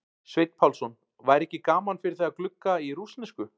Sveinn Pálsson: væri ekki gaman fyrir þig að glugga í rússnesku?